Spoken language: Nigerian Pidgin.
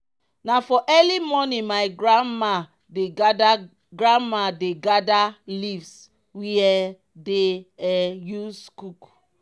na for early morning my grandma dey gather grandma dey gather leaves we um dey um use cook.